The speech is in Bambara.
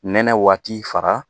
Nɛnɛ waati fara